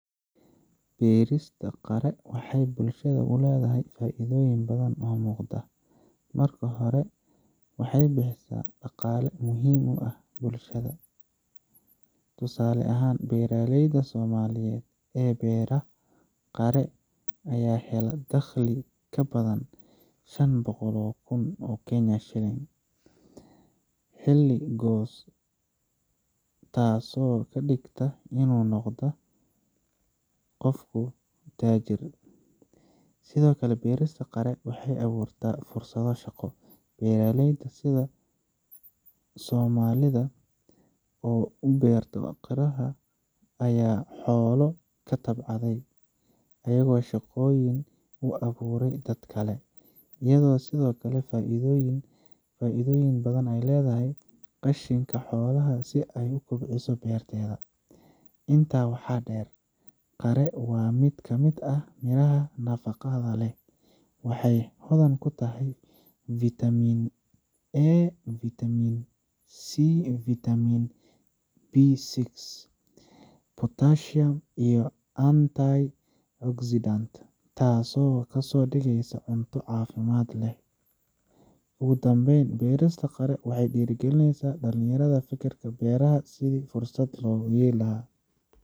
Beerista qare waxay bulshada ku leedahay faa’iidooyin badan oo muuqda. Marka hore, waxay bixisaa ilo dhaqaale oo muhiim ah. Tusaale ahaan, beeralayda somaliyeed ee beeray qare, ayaa helay dakhli ka badan shanboqol oo kun oo kenyan shilling xilli goos ah, taasoo ka dhigtay inuu noqdo kofku taajir. Sidoo kale, beerista qare waxay abuurtaa fursado shaqo. Beeralayda sida somaalida, oo beeratay qare iyo xoolo, ka tabcaday ayagoo shaqooyin u abuuray dad kale, iyadoo sidoo kale ka faa’iidooyin badan ay ledahay qashinka xoolaha si ay u kobciso beerteeda. Intaa waxaa dheer, qare waa mid ka mid ah miraha nafaqada leh. Waxay hodan ku tahay vitamin A vitamin C vitamin B6, potassium, iyo antioxidants, taasoo ka dhigaysa cunto caafimaad leh oo fudud leh Ugu dambeyntiina, beerista qare waxay dhiirrigelisaa dhalinyarada inay ka fikiraan beeraha sidii fursad loogu yeeli lahaa.